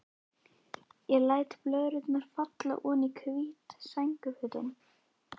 Ég læt blöðrurnar falla oní hvít sængurfötin.